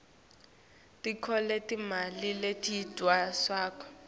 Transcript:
tonkhe timali letidvonswako